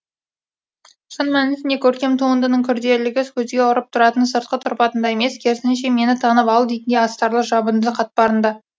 шын мәнісінде көркем туындының күрделігі көзге ұрып тұратын сыртқы тұрпатында емес керісінше мені танып ал дейтін астарлы жабынды қатпарында